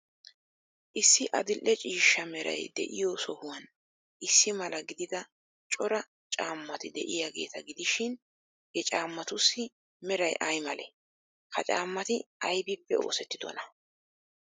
Issi adil'e ciishsha meray de'iyo sohuwan issi mala gidida cora caammati de'iyaageeta gidishin, he caammatussi meray ay malee? Ha caammati aybippe oosettidonaa?